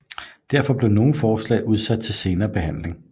Derfor blev nogle forslag udsat til senere behandling